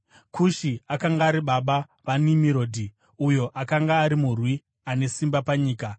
Kushi akanga ari baba vaNimurodhi, uyo akanga ari murwi ane simba panyika.